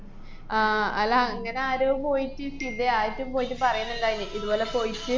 ആഹ് അല്ല അങ്ങനെ ആരോ പോയിട്ട് സിതേ ആയിട്ടും പോയിട്ട് പറയുന്ന്ണ്ടാര്ന്ന് ഇതുപോലെ പോയിട്ട്